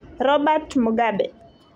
Robert Mugabe.